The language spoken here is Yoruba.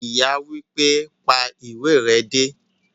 Ìyá wípé,"pa ìwé re dé"